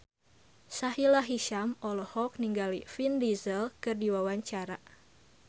Sahila Hisyam olohok ningali Vin Diesel keur diwawancara